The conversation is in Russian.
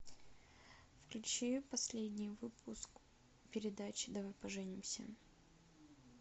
включи последний выпуск передачи давай поженимся